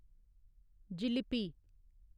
jalebi